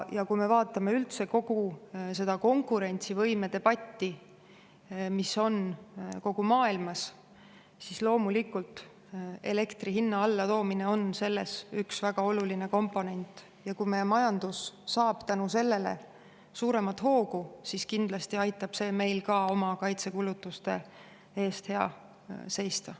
Ja kui me vaatame üldse kogu seda konkurentsivõime debatti, mis on kogu maailmas, siis loomulikult elektri hinna allatoomine on selles üks väga oluline komponent, ja kui meie majandus saab tänu sellele suuremat hoogu, siis kindlasti aitab see meil ka oma kaitsekulutuste eest hea seista.